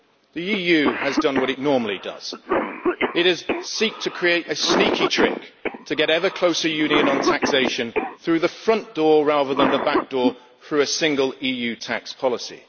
the EU has done what it normally does it has created a sneaky trick to get ever closer union on taxation through the front door, rather than the back door, for a single EU tax policy.